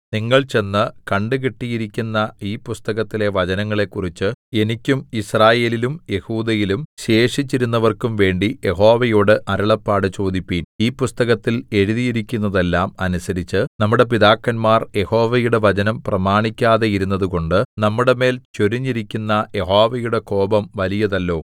നിങ്ങൾ ചെന്ന് കണ്ടുകിട്ടിയിരിക്കുന്ന ഈ പുസ്തകത്തിലെ വചനങ്ങളെക്കുറിച്ച് എനിക്കും യിസ്രായേലിലും യെഹൂദയിലും ശേഷിച്ചിരിക്കുന്നവർക്കും വേണ്ടി യഹോവയോട് അരുളപ്പാട് ചോദിപ്പിൻ ഈ പുസ്തകത്തിൽ എഴുതിയിരിക്കുന്നതെല്ലാം അനുസരിച്ച് നമ്മുടെ പിതാക്കന്മാർ യഹോവയുടെ വചനം പ്രമാണിക്കാതെയിരുന്നതുകൊണ്ട് നമ്മുടെമേൽ ചൊരിഞ്ഞിരിക്കുന്ന യഹോവയുടെ കോപം വലിയതല്ലോ